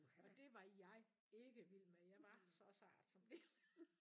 Og det var jeg ikke vild med jeg var så sart som lille